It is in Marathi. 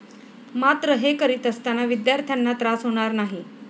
मात्र हे करीत असताना विद्यार्थ्यांना त्रास होणार नाही.